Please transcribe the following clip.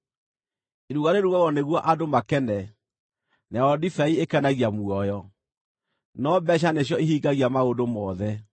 Iruga rĩrugagwo nĩguo andũ makene, nayo ndibei ĩkenagia muoyo, no mbeeca nĩcio ihingagia maũndũ mothe.